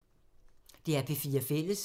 DR P4 Fælles